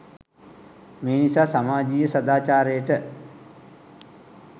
මේ නිසා සමාජයීය සදාචාරයට